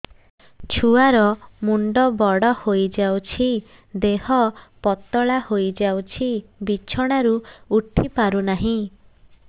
ଛୁଆ ର ମୁଣ୍ଡ ବଡ ହୋଇଯାଉଛି ଦେହ ପତଳା ହୋଇଯାଉଛି ବିଛଣାରୁ ଉଠି ପାରୁନାହିଁ